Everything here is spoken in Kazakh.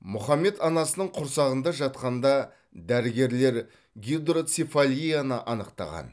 мұхаммед анасының құрсағында жатқанда дәрігерлер гидроцефалияны анықтаған